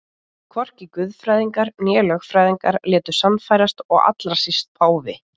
Hvorki guðfræðingar né lögfræðingar létu sannfærast og allra síst páfi.